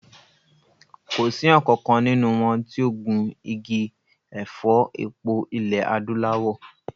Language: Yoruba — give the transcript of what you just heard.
Kò sí ọ̀kankan nínú wọn tí ó gun igi ẹ̀fọ́ epo ilẹ̀ Adúláwọ̀